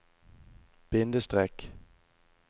bindestrek